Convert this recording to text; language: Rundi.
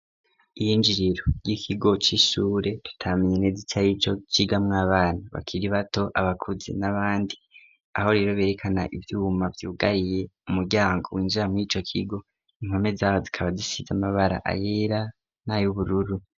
Iyinjiriro ry'ikigo c'ishure tutamenye ineze ico arico, cigamwo abana bakiri bato, abakuze n'abandi, aho rero berekana ivyuma vyugariye umuryango winjira mur'ico kigo, impome zaco zikaba zisize amabara, ayera n'ay'ubururu.